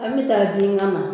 An bɛ taa don ɲini an na.